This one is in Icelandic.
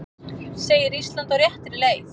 Segir Ísland á réttri leið